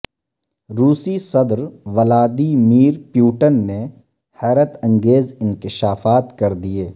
روسی صدر Vladimir Putin نے حیرت انگیز انکشافات کر دیے